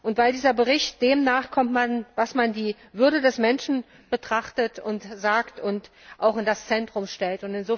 Und weil dieser Bericht dem nachkommt, was man als die Würde des Menschen betrachtet, und dies sagt und auch in das Zentrum stellt.